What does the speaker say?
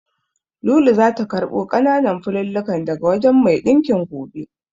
Lulu zata karɓo ƙananan fulallikan daga wajen mai ɗinkin gobe.